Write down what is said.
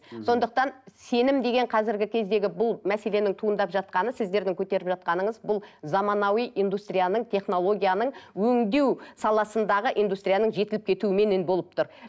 сондықтан сенім деген қазіргі кездегі бұл мәселенің туындап жатқаны сіздердің көтеріп жатқаныңыз бұл заманауи индустрияның технологияның өңдеу саласындағы индустрияның жетіліп кетуіменен болып тұр